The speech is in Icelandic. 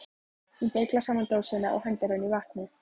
Hún beyglar saman dósina og hendir henni í vatnið.